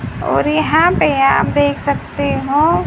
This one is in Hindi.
और यहां पे आप देख सकते हो--